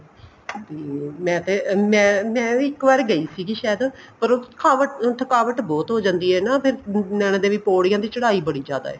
ਮੈਂ ਤੇ ਮੈਂ ਮੈਂ ਵੀ ਇੱਕ ਵਾਰ ਗਈ ਸੀਗੀ ਸਾਇਦ ਪਰ ਉਹ ਥਕਾਵਟ ਥਕਾਵਟ ਬਹੁਤ ਹੋ ਜਾਂਦੀ ਏ ਹਨਾ ਫ਼ੇਰ ਨੈਨਾਂ ਦੇਵੀ ਪੋੜੀਆਂ ਦੀ ਚੜਾਈ ਬੜੀ ਜਿਆਦਾ ਏ